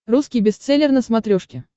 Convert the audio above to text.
русский бестселлер на смотрешке